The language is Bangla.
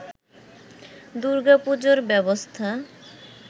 দূর্গাপুজোর ব্যবস্থা